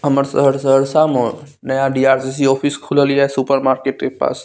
हमर शहर सहरसा मो नया डी.आर.सी.सी. ऑफिस खुलल हिए सुपर मार्केट के पास।